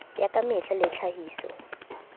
ya ka mehla le tlhahiso